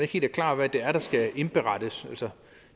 helt klart hvad det er der skal indberettes